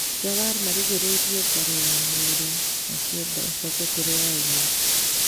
Jawar marĩgĩrĩrie ngari ya mwĩrĩ makĩenda icoke kũria yauma.